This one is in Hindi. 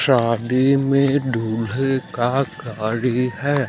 शादी में दूल्हे का गाड़ी है।